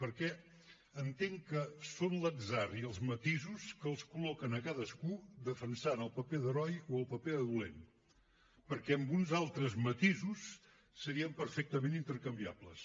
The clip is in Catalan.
perquè entenc que són l’atzar i els matisos que els col·loquen a cadascú defensant el paper d’heroi o el paper de dolent perquè amb uns altres matisos serien perfectament intercanviables